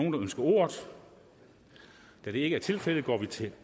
ønsker ordet da det ikke er tilfældet går vi til